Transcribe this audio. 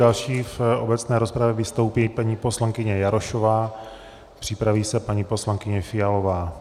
Další v obecné rozpravě vystoupí paní poslankyně Jarošová, připraví se paní poslankyně Fialová.